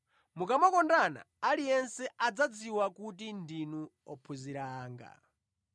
Mukamakondana aliyense adzadziwa kuti ndinu ophunzira anga.”